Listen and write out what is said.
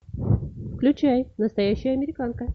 включай настоящая американка